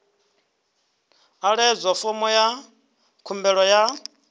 ḓadza fomo ya khumbelo ya